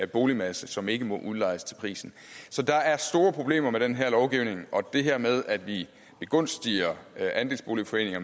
boligmasse som ikke må udlejes til prisen så der er store problemer med den her lovgivning og det her med at vi begunstiger andelsboligforeninger